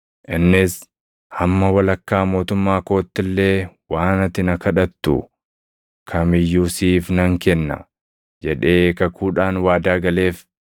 Innis, “Hamma walakkaa mootummaa kootti illee waan ati na kadhattu kam iyyuu siif nan kenna!” jedhee kakuudhaan waadaa galeef.